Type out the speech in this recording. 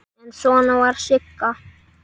En svona var Sigga.